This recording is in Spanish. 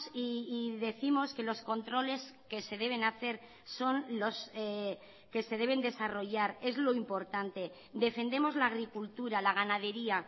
y décimos que los controles que se deben hacer son los que se deben desarrollar es lo importante defendemos la agricultura la ganadería